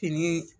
Fini